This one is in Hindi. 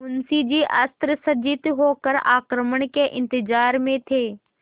मुंशी जी अस्त्रसज्जित होकर आक्रमण के इंतजार में थे